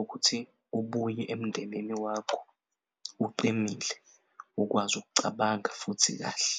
ukuthi ubuye emndenini wakho uqinile ukwazi ukucabanga futhi kahle.